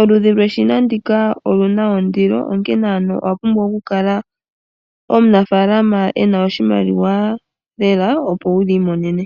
Oludhi lweshina ndika olina ondilo onkene ano owa oku kala pumbwa omunafalama ena oshimaliwa lela opo wuli monene.